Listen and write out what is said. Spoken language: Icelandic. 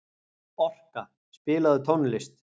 Orka, spilaðu tónlist.